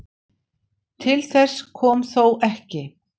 Til þess kom þó ekki.